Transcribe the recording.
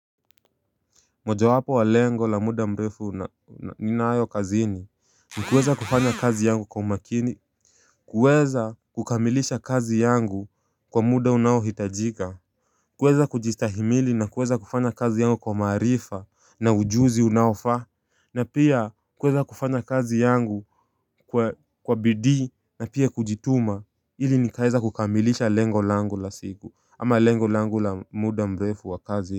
Mojawapo wa lengo la muda mrefu ninayo kazini ni kuweza kufanya kazi yangu kwa umakini kuweza kukamilisha kazi yangu kwa muda unaohitajika kuweza kujistahimili na kuweza kufanya kazi yangu kwa maarifa na ujuzi unaofaa na pia kuweza kufanya kazi yangu kwa bidii na pia kujituma ili nikaeza kukamilisha lengo langu la siku ama lengo langu la muda mrefu wa kazi.